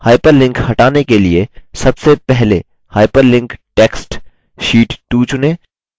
hyperlink हटाने के लिए सबसे पहले hyperlinked text sheet 2 चुनें